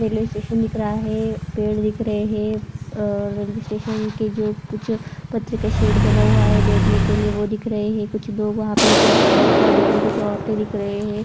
Railway station दिख रहा है पेड़ दिख रहे है अअ रेल्वे स्टेशन के जो पीछे पत्रे का शेड बना हुआ है बेठने के लिए वो दिख रहा है कुछ लोग वहा पे दिख रहा है कुछ लड़कियां दिख रही कुछ औरते दिख रहे हैं।